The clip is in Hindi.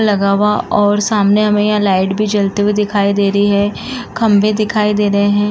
लगा हुआ और सामने हमें यह लाइट भी जलते हुए दिखाई दे रही है। खंभें दिखाई दे रहे हैं।